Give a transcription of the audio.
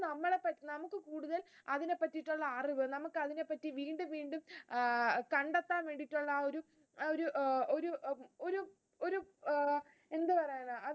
അതിനെ പറ്റിയുള്ള അറിവ്, നമുക്ക് അതിനെപ്പറ്റി വീണ്ടും വീണ്ടും അഹ് കണ്ടെത്താൻ വേണ്ടിയിട്ടുള്ള ആ ഒരു ആഹ് എന്തു പറയാനാ